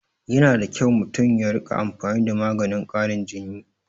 Yana da kyau mutum ya rika amfani da maganin karin jin